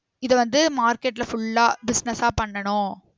இத வந்து market ல full ஆ business ஆ பண்ணனும்